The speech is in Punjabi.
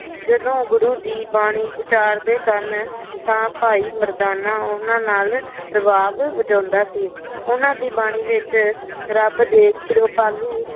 ਜਦੋ ਗੁਰੂ ਜੀ ਬਾਣੀ ਉਚਾਰਦੇ ਸਨ ਤਾ ਭਾਈ ਮਰਦਾਨਾ ਉਹਨਾ ਨਾਲ ਰਬਾਬ ਵਜਾਉਦਾ ਸੀ ਉਹਨਾ ਦੀ ਬਾਣੀ ਵਿਚ ਰੱਬ ਦੇ ਕਿਰਪਾਲੂ